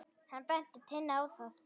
Hann benti Tinnu á það.